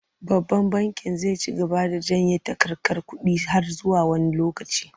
Babban bankin zai ci gaba da janye takarkar kuɗi har zuwa wani lokaci.